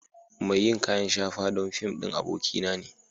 Mai yin kayan shafa don fim ɗin abokia na ne.